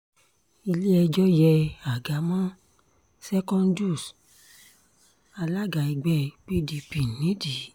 ilé-ẹjọ́ yé àga mọ́ secondus alága ẹgbẹ́ pdp nídìí